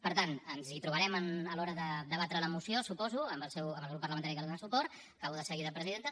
per tant ens trobarem a l’hora de debatre la moció suposo amb el grup parlamentari que hi dóna suport acabo de seguida presidenta